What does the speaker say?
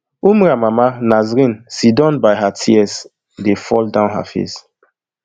umrah mama nasreen sidon by her tears dey fall down her face